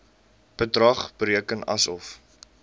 bedrag bereken asof